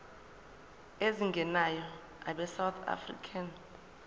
ezingenayo abesouth african